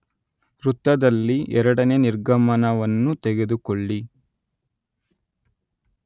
ವೃತ್ತದಲ್ಲಿ, ಎರಡನೇ ನಿರ್ಗಮನವನ್ನು ತೆಗೆದುಕೊಳ್ಳಿ